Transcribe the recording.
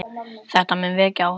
Þetta mun vekja áhuga fólks.